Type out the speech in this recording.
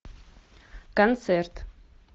концерт